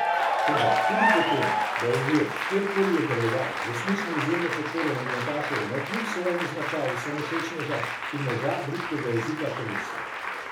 Toda tudi po tem, da je imel, kjerkoli je deloval, resnično izjemno podporo nogometašev navkljub svojemu značaju samovšečneža in moža bridkega jezika ter misli.